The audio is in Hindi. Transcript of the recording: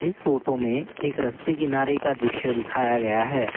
इस फोटो में एक रस्ते किनारे का दृश्य दिखाया गया है।